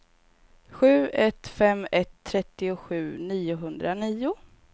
sju ett fem ett trettiosju niohundranio